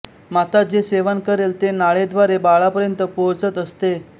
माता जे सेवन करेल ते नाळेद्वारे बाळापर्यंत पोहोचत असते